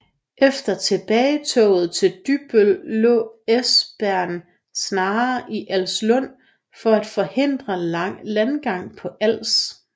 Efter tilbagetoget til Dybbøl lå Esbern Snare i Alssund for at forhindre landgang på Als